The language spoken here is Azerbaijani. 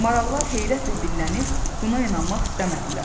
Marallar heyrətlə dillənib buna inanmaq istəmədilər.